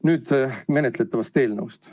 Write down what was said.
Nüüd menetletavast eelnõust.